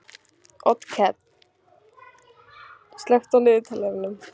Otkell, slökktu á niðurteljaranum.